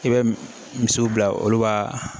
I bɛ misiw bila olu b'a